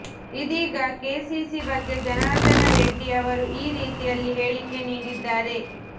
ಇದೀಗ ಕೆಸಿಸಿ ಬಗ್ಗೆ ಜನಾರ್ದನ ರೆಡ್ಡಿ ಅವರು ಈ ರೀತಿಯಲ್ಲಿ ಹೇಳಿಕೆ ನೀಡಿದ್ದಾರೆ